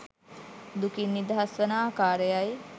දුකින් නිදහස් වන ආකාරයයි